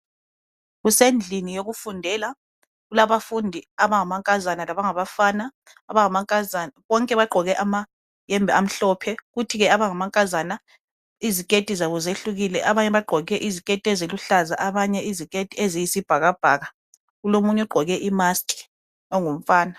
Kusendlini yokufundela. Kulabafundi abangamankaza labangabafana. Bonke bagqoke amayembe amhlophe, kuthi ke abangamankazana iziketi zabo ziyehlukile. Abanye bagqoke iziketi eziluhlaza, abanye iziketi eziyisibhakabhaka. Omunye ugqoke imaskhi, ongumfana.